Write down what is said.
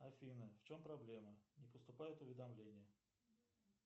афина в чем проблема не поступают уведомления